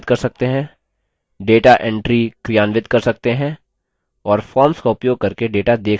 data entries क्रियान्वित कर सकते हैं और forms का उपयोग करके data देख सकते हैं